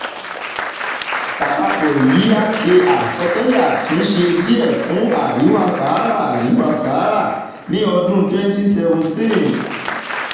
lápapọ̀ èyí a ṣe asọtẹ́lẹ̀ àtúnṣe díẹ̀ fún àríwá sahara àríwá sahara ní ọdún twenty seventeen